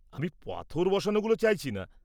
আমি পাথর বসানোগুলো চাইছি না।